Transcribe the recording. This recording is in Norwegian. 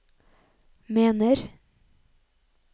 mener